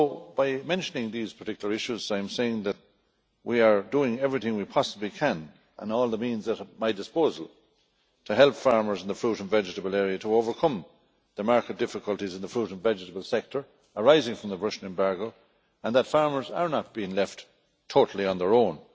By mentioning these particular issues I am saying that we are doing everything we possibly can, by all the means at my disposal, to help farmers in the fruit and vegetable area to overcome the market difficulties in the food and vegetable sector arising from the Russian embargo, and that farmers are not being left totally on their own.